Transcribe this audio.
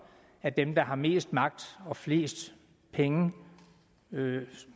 at dem der har mest magt og flest penge og